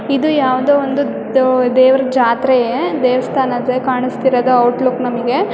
ಇದು ಒಂದು ಯಾವದೋ ಒಂದು ದೇವರ ಜಾತ್ರೆ ದೇವಸ್ಥಾನ ಕಾಣಸ್ತಿರೋದು ಔಟ್ಲುಕ್ ನಮಿಗೆ.